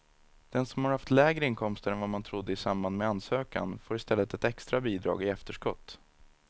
Den som har haft lägre inkomster än vad man trodde i samband med ansökan får i stället ett extra bidrag i efterskott.